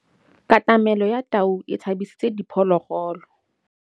Katamêlô ya tau e tshabisitse diphôlôgôlô.